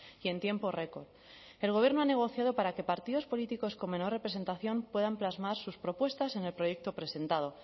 y en tiempo record el gobierno ha negociado para que partidos políticos con menor representación puedan plasmar sus propuestas en el proyecto presentado